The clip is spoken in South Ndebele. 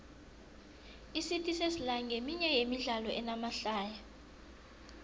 icity sesla nqeminye yemidlalo enamahlaya